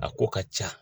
A ko ka ca